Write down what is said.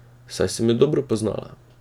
Saj sem jo dobro poznala.